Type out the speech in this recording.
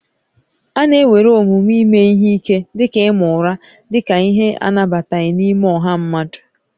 A na-ewere omume ime ihe ike dị ka ịma ụra dị ka ihe anabataghị n'ime ọha mmadụ